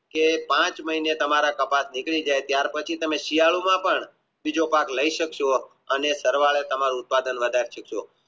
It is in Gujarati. કે પાંચ મહિને તમારા કપાસ નિકરી જાય પછી તમે શિયાળો માં પણ બીજો પાક લાય સક્સો અને સરવાળે તમે ઉપયાદ કરી શકશો